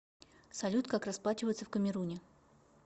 салют как расплачиваться в камеруне